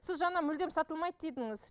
сіз жаңа мүлдем сатылмайды дедіңіз